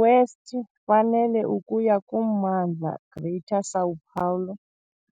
West fanele ukuya kummandla "Greater São Paulo",